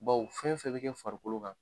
Bawo fɛn fɛn bɛ kɛ farikolo kan